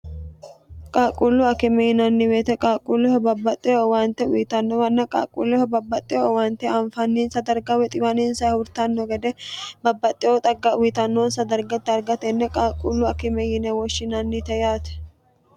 qaaqquullu akime yinanniweete qaaqquulleho babbaxxeo owaante uyitannowanna qaaqquulleho babbaxxe owaante anfanninsa darga xiwaninsa agurtanno gede babbaxxeo xagga xiwantannonsa darga gargaratenne qaaqquullu akime yine woshshinannite yaate